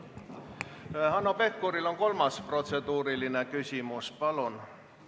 Hanno Pevkuril on kolmas protseduuriline küsimus, palun!